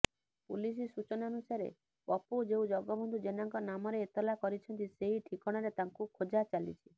police ସୂଚନାନୁସାରେ ପପୁ ଯେଉଁ ଜଗବନ୍ଧୁ ଜେନାଙ୍କ ନାମରେ ଏତଲା କରିଛନ୍ତି ସେହି ଠିକଣାରେ ତାଙ୍କୁ ଖୋଜା ଚାଲିଛି